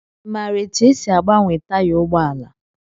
I maara etu e si agbanwe taya ụgbọala?